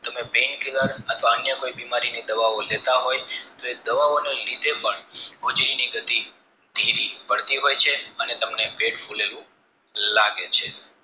તમે pain killer અથવા અન્ય બીમારીની દવા લેતા હોય તો એ દવા ઓને લીધે પણ હોજરીની ગતિ ધીરી પડટી હોય છે અને તમને પેટ ફુલેલું લાગે છે